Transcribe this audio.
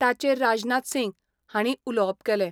ताचेर राजनाथ सिंग हांणी उलोवप केलें.